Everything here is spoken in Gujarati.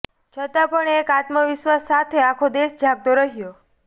છતાં પણ એક આત્મવિશ્વાસ સાથે આખો દેશ જાગતો રહ્યો